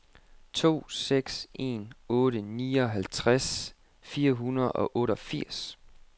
to seks en otte nioghalvtreds fire hundrede og otteogfirs